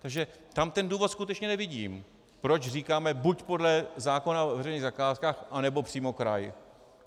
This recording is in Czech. Takže tam ten důvod skutečně nevidím, proč říkáme buď podle zákona o veřejných zakázkách, anebo přímo kraj.